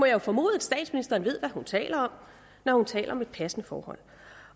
jo formode at statsministeren ved hvad hun taler om når hun taler om et passende forhold